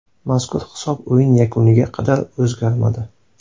Mazkur hisob o‘yin yakuniga qadar o‘zgarmadi.